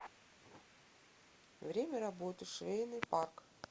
время работы швейный парк